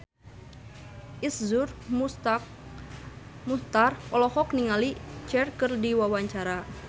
Iszur Muchtar olohok ningali Cher keur diwawancara